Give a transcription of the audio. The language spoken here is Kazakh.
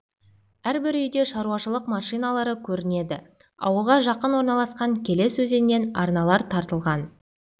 әрбір үйде шаруашылық машиналары көрінеді ауылға жақын орналасқан келес өзенінен арналар тартылған